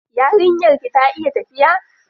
Yarinyar ki ta iya tafiya?